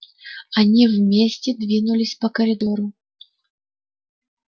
они вместе двинулись по коридору